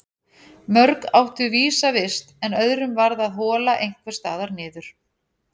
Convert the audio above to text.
Mörg áttu vísa vist en öðrum varð að hola einhvers staðar niður.